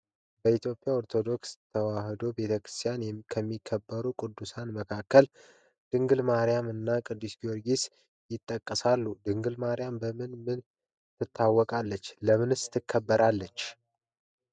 በኢትዮጵያ ኦርቶዶክስ ተዋሕዶ ቤተክርስቲያን ከሚከበሩ ቅዱሳን መካከል ድንግል ማርያም እና ቅዱስ ጊዮርጊስ ይጠቀሳሉ። ድንግል ማርያም በምን በምን ትታወቃለች ለምንስ ትከበራለች?